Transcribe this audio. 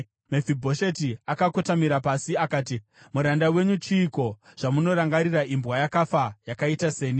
Mefibhosheti akakotamira pasi akati, “Muranda wenyu chiiko, zvamunorangarira imbwa yakafa yakaita seni?”